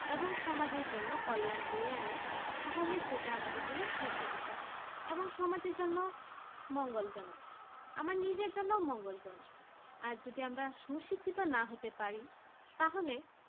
এবং সমাজের জন্য কল্যাণ বৈরাগী তাহলে সেটা আমাদের জন্য সুশিক্ষা এবং সমাজের জন্য মঙ্গলজনক আমার নিজের জন্য মঙ্গলজনক আর যদি আমরা সুশিক্ষিত না হতে পারি তাহলে